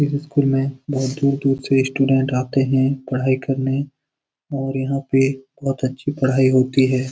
इस स्कूल में बहुत दूर-दूर से स्टूडेंट आते हैं पढ़ाई करने और यहाँ पे बहुत अच्छी पढ़ाई होती है।